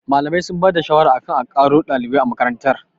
Malamai sun ba da shawara akan a ƙaro ɗalibai a makarantar